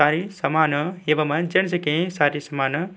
सारे सामान एवं चर्च के सारे सामान --